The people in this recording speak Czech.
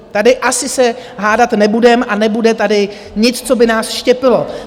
Tady asi se hádat nebudeme a nebude tady nic, co by nás štěpilo.